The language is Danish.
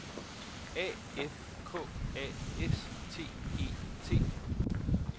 A F K A S T E T